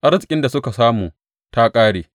Arzikin da suka samu ta ƙare.